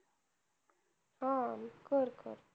हा कर कर.